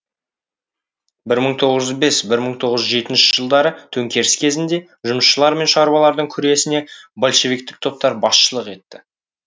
бір мың тоғыз жүз бес бір мың тоғыз жүз жетінші жылдары төңкеріс кезінде жұмысшылар мен шаруалардың күресіне большевиктік топтар басшылық етті